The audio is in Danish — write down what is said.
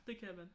Det kan man